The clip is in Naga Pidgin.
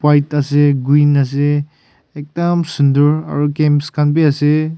Ekta ase queen ase ekdum sundur aro games khan bhi ase.